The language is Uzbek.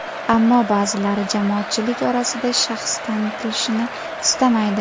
Ammo ba’zilari jamoatchilik orasida shaxsi tanilishini istamaydi.